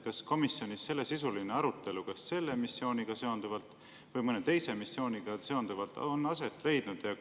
Kas komisjonis sellesisuline arutelu kas selle missiooniga või mõne teise missiooniga seonduvalt on aset leidnud?